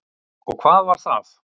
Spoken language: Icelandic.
Og hvað var það?